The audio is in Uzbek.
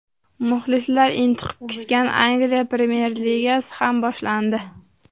Muxlislar intiqib kutgan Angliya Premyer ligasi ham boshlandi.